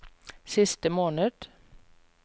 siste måned